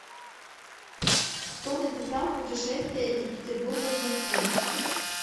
кто написал путешествие из петербурга в москву